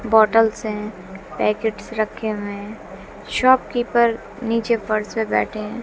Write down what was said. Bottles हैं packets रखे हुए हैं शॉप कीपर नीचे फर्श पे बैठे हैं।